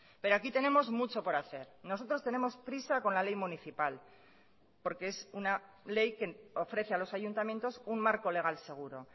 pero aquí tenemos mucho por hacer nosotros tenemos prisa con la ley municipal porque es una ley que ofrece a los ayuntamientos un marco legal seguro